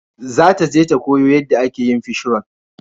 Za ta je ta koya yanda ake yin fishroll